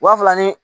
Wa fila ni